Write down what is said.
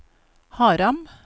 Haram